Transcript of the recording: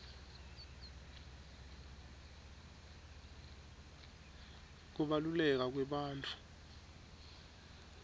kubaluleka kwebantfu